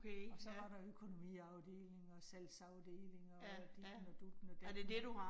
Og så var der økonomiafdelingen, og salgsafdelingen og ditten og dutten og datten